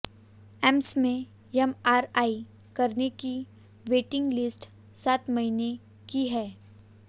AIIMS में MRI कराने की वेटिंग लिस्ट सात महीने की है